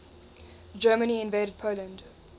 germany invaded poland